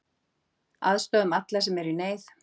Aðstoðum alla sem eru í neyð.